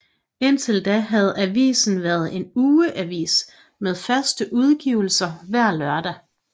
Indtil da havde avisen været en ugeavis med fast udgivelse hver lørdag